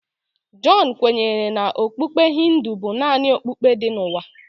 John kwenyere na okpukpe Hindu bụ naanị okpukpe dị n'ụwa.